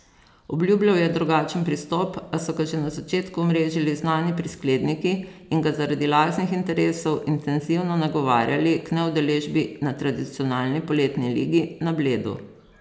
Obljubljal je drugačen pristop, a so ga že na začetku omrežili znani priskledniki in ga zaradi lastnih interesov intenzivno nagovarjali k neudeležbi na tradicionalni poletni ligi na Bledu.